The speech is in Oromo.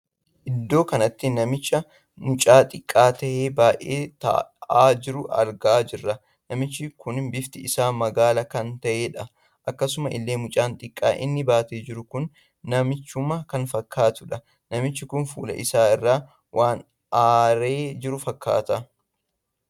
Iddoo kanatti namicha mucaa xiqqaa tahee baay'ee taa'aa jiruu argaa jirra. namichi kun bifti isaa magaala kan taheedha. akkasuma illee mucaa xiqqaa inni baatee jiru kun namichuma kan fakkaattudha. namichi kun fuula isaa irraa waan aaree jiru fakkaata.